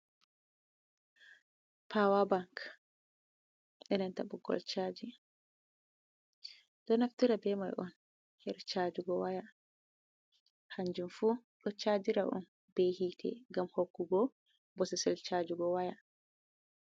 Pawabank ɓe nanta ɓoggol chaji mai, ɗonafitira beimai'on her chajigo waya hanjinfu, docajira’on banta woya mai ngam hokkugo bososel chajigo waya.